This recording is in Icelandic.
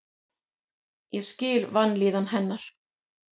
Ég skil vanlíðan hennar.